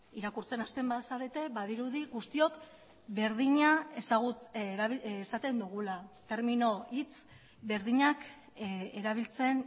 irakurtzen hasten bazarete badirudi guztiok berdina esaten dugula termino hitz berdinak erabiltzen